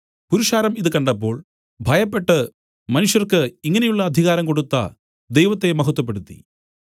പുരുഷാരം ഇതു കണ്ടപ്പോൾ ഭയപ്പെട്ടു മനുഷ്യർക്ക് ഇങ്ങനെയുള്ള അധികാരം കൊടുത്ത ദൈവത്തെ മഹത്വപ്പെടുത്തി